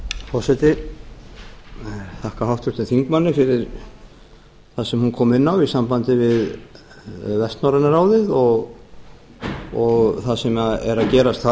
ég þakka þingmanni fyrir það sem hún kom inn á í sambandi við vestnorræna ráðið og það sem er að gerast þar